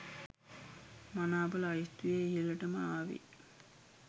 මනාප ලයිස්තුවේ ඉහලටම ආවේ